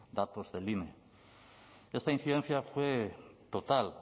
datos del ine esta incidencia fue total